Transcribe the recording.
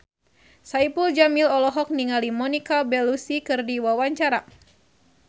Saipul Jamil olohok ningali Monica Belluci keur diwawancara